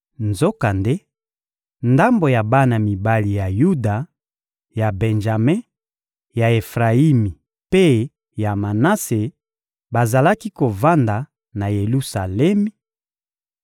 Nzokande, ndambo ya bana mibali ya Yuda, ya Benjame, ya Efrayimi mpe ya Manase bazalaki kovanda na Yelusalemi: